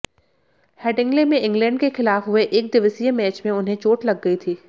Headingley में England के खिलाफ हुए एकदिवसीय मैच में उन्हें चोट लग गई थी